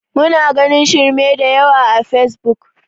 Muna ganin shirme da yawa a fesbuk